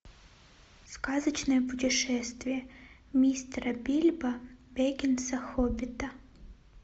сказочное путешествие мистера бильбо беггинса хоббита